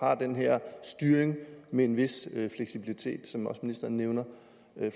har den her styring med en vis fleksibilitet som ministeren også nævner